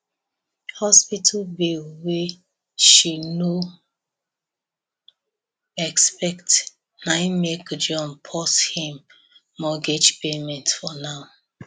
hospital bill wey she nobody expect naim make john pause him mortgage payment for now